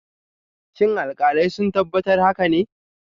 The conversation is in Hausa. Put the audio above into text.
Shin alkalai sun tabbatar haka ne?